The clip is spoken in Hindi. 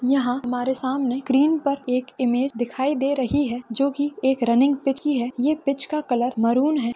यहाँ हमारे सामने स्क्रीन पर एक इमेज दिखाई दे रही है जो की एक रनिंग पिच की है ये पिच का कलर मरून है।